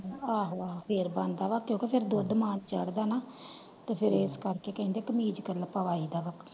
ਆਹੋ ਆਹੋ ਫੇਰ ਬੰਦਾ ਵਾ ਕਿਓਂਕਿ ਫੇਰ ਦੁੱਧ ਮਾਂ ਨੂੰ ਚਡਦਾ ਵਾ ਨਾ ਤੇ ਫੇਰ ਐੱਸ ਕਰਕੇ ਕਹਿੰਦੇ ਕਮੀਜ ਕੱਲਾ ਪਵਾਯੀਦਾ ਵਾ।